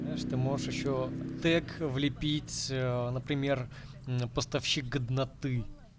знаешь ты можешь ещё тэг влепить например поставщик годноты